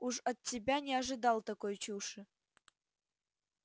уж от тебя не ожидал такой чуши